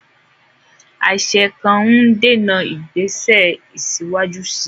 Àṣẹ kan ń dènà ìgbésẹ̀ síwájú sí i.